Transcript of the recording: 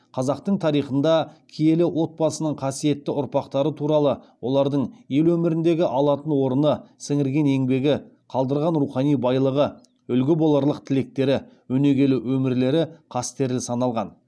қазақтың тарихында киелі отбасының қасиетті ұрпақтары туралы олардың ел өміріндегі алатын орны сіңірген еңбегі қалдырған рухани байлығы үлгі боларлық тірліктері өнегелі өмірлері қастерлі саналған